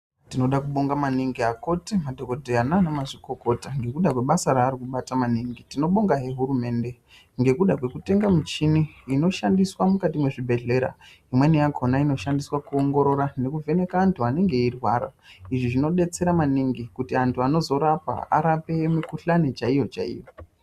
Tinoda kubonga maningi akoti, madhokodheya naanamazvikokota ngekuda kwebasa raari kubata maningi. Tinobongahe hurumende ngekuda kwekutenga muchini inoshandiswa mwukati mwezvibhedhlera. Imweni yakona inoshandiswa kuongorora nekuvheneka antu anenge eirwara. Izvi zvinbetsera maningi kuti antu anozorapa arape mikuhlani chaiyo-chaiyo.